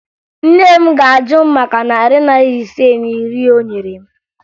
Nne m ga-ajụ m maka narị naịra ise na iri o nyere m